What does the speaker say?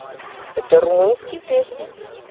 это румынские песни